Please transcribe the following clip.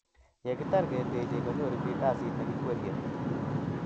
Yekitar ketechei, konyoru biik kasit nekikwerrie